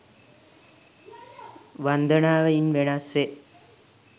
වන්දනාව ඉන් වෙනස් වේ.